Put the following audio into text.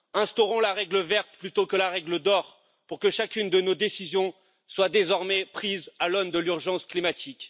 instaurons la règle verte plutôt que la règle d'or pour que chacune de nos décisions soit désormais prise à l'aune de l'urgence climatique